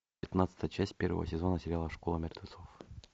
пятнадцатая часть первого сезона сериала школа мертвецов